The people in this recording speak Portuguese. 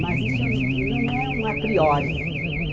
Mas isso não não é um a priori.